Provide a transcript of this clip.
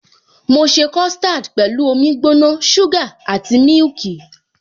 Mo ṣe custard pẹ̀lú omi gbóná, suga àti mílìkì.